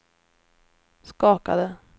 skakade